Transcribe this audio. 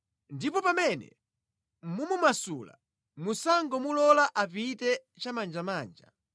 Ndipo pamene mumumasula, musangomulola apite chimanjamanja.